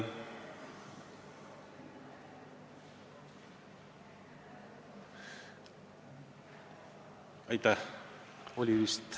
Arto Aas.